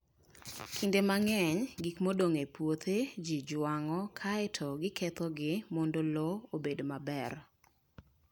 Kinde mang'eny, gik modong' e puothe ji jwang'o kae to gikethogi mondo lowo obed maber.